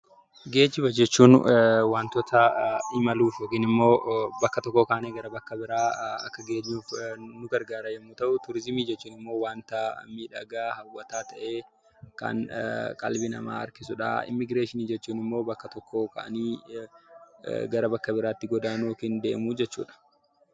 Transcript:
Geejjiba jechuun wantoota imaluuf yookiin immoo bakka tokkoo kaanee gara bakka biraa akka geenyuuf nu gargaaran yommuu ta'u; Turiizimii jechuun immoo wanta miidhagaa, hawwataa ta'ee kan qalbii namaa harkisu dha. Immigireeshinii jechuun immoo bakka tokkoo ka'anii gara bakka biraatti godaanuu yookiin deemuu jechuu dha.